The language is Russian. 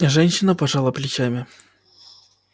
женщина пожала плечами